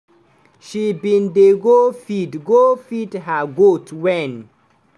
she bin dey go feed go feed her goat wen